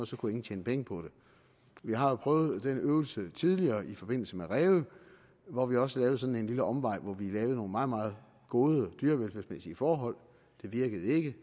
så kunne ingen tjene penge på det vi har jo prøvet den øvelse tidligere i forbindelse med ræve hvor vi også lavede sådan en lille omvej hvor vi lavede nogle meget meget gode dyrevelfærdsmæssige forhold det virkede ikke